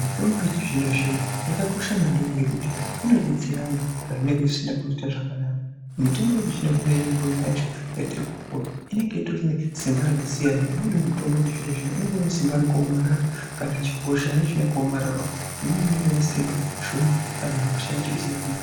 mitombo yechizvino zvino yakakosha maningi ngekuti inodetsera antu pazvinenge zvisina kuita zvakanaka , mitombo yechizvino zvino imweni yacho yatirikupuwa inenge itori nesimba rakasiya , umweni mutombo wechizvino zvino unenge unesimba rakaomarara kana hosha yacho yakaomararawo imweni inenge inesimba shoma kana hosha yacho isina kunyanya kuoma.